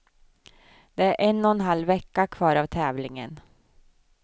Det är en och en halv vecka kvar av tävlingen.